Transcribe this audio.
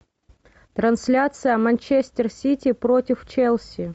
трансляция манчестер сити против челси